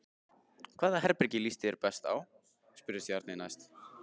Hvaða herbergi líst þér best á? spurði Stjáni næst.